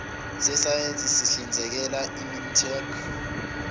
sesayense sihlinzekela imintek